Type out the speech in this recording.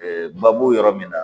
baabu yɔrɔ min na